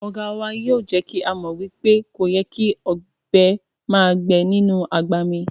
Oga wa yoo je ki a mo wipe koyè́ kí ọbẹ màá gbẹ̀ inú agbá mí